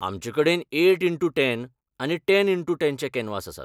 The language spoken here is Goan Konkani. आमचेकडेन एयट इन्टू टेन आनी टेन इन्टू टेन चे कॅनवास आसात.